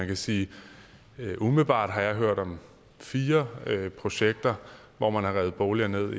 kan sige at jeg umiddelbart har hørt om fire projekter hvor man har revet boliger ned